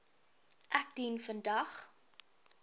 ek dien vandag